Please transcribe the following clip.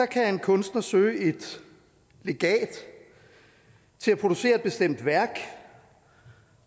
kan en kunstner søge et legat til at producere et bestemt værk